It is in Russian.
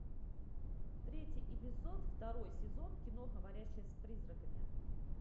третий эпизод второй сезон кино говорящая с призраками